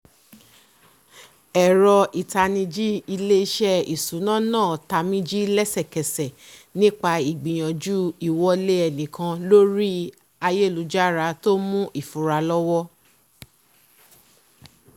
ẹ̀rọ ìtanijí ilésẹ́ ìsúná náà tamíjí lẹ́sẹkẹsẹ nípa ìgbìyànjú ìwọlé ẹnikan lórí ayélujára tó mú ìfura lọwọ́